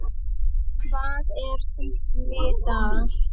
Hvað er þitt lið þar?